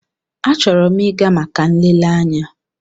Achọrọ m ịga maka nlele anya.